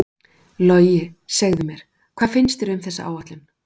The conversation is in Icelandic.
Logi, segðu mér, hvað finnst þér um þessa áætlun?